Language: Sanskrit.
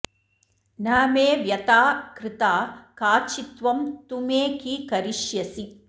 न मे व्यथा कृता काचित्त्वं तु मे कि करिष्यसि